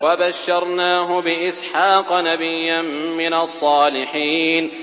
وَبَشَّرْنَاهُ بِإِسْحَاقَ نَبِيًّا مِّنَ الصَّالِحِينَ